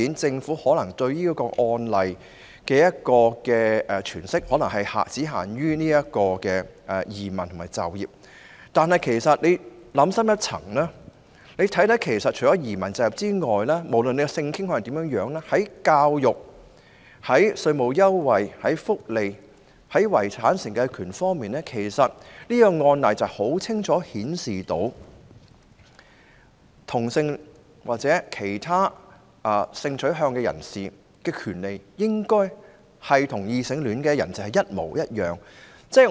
政府對此案例的詮釋可能只限於移民和就業方面，但大家其實想深一層，便會發現除移民和就業外，無論性傾向如何，在教育、稅務優惠、福利和遺產承繼權方面，這案例已清楚顯示同性戀或其他性傾向人士的權利應與異性戀人士一樣。